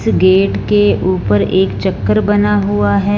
Gate के ऊपर एक चक्र बना हुआ है।